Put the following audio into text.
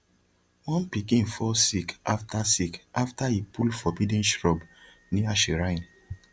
one pikin fall sick after sick after e pull forbidden shrub near shrine